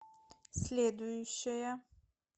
следующая